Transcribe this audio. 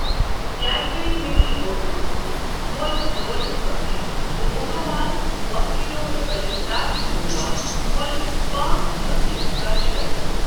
Cadbury mini Oreo biscuit مۄل ژور ہتھ رۄپیہِ تہٕ Odomos mosquito repellent fabric roll on مۄل پانٛژ ہتھ رۄپیہِ کر شٲمل۔